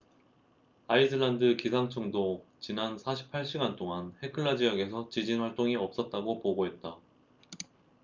아이슬란드 기상청도 지난 48시간 동안 헤클라 지역에서 지진 활동이 없었다고 보고했다